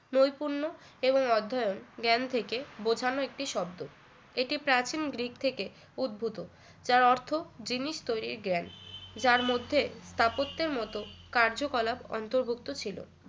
নৈপুণ্য এবং অধ্যয়ন জ্ঞান থেকে বোঝানো একটি শব্দ এটি প্রাচীন গ্রিক থেকে উদ্ভূত যার অর্থ জিনিস তৈরির জ্ঞান যার মধ্যে স্থাপত্যের মত কার্যকলাপ অন্তর্ভুক্ত ছিল